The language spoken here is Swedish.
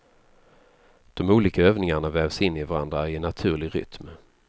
De olika övningarna vävs in i varandra i en naturlig rytm.